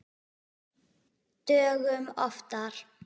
Dögum oftar.